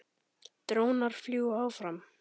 Drónar fljúga áfram.